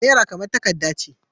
Naira kamar takarda ce.